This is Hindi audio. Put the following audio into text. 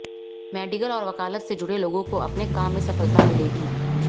मेडिकल और वकालत से जुड़े लोगों को अपने काम में सफलता मिलेगी